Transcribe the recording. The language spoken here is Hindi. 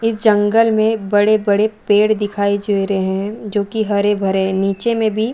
इस जंगल में बड़े -बड़े पेड़ दिखाई दे रहे है जोकि हरे -भरे है नीचे में भी --